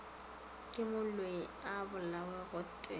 ke moloi a bolawe gotee